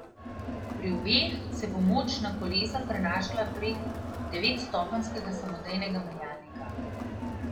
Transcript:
Pri obeh se bo moč na kolesa prenašala prek devetstopenjskega samodejnega menjalnika.